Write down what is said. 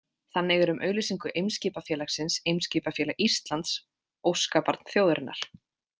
Þannig er um auglýsingu Eimskipafélagsins „Eimskipafélag Íslands, óskabarn þjóðarinnar“.